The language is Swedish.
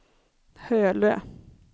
Hölö